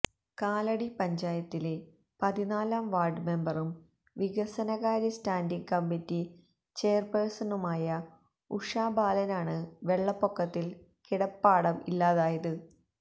കാലടി പഞ്ചായത്തിലെ പതിനാലാം വാര്ഡ് മെമ്പറും വികസനകാര്യ സ്റ്റാന്റിങ് കമ്മിറ്റി ചെയര്പെഴ്സണുമായ ഉഷാ ബാലനാണ് വെള്ളപ്പൊക്കത്തില് കിടപ്പാടം ഇല്ലാതായത്